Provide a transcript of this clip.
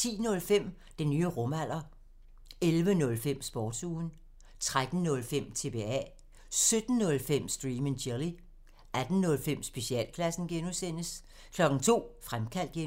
10:05: Den nye rumalder 11:05: Sportsugen 13:05: TBA 17:05: Stream and chill 18:05: Specialklassen (G) 02:00: Fremkaldt (G)